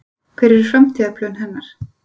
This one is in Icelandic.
Hver eru framtíðarplön hennar?